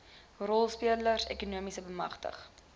rolspelers ekonomies bemagtig